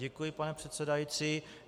Děkuji, pane předsedající.